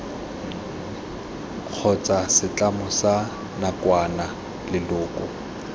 kgotsa setlamo sa nakwana leloko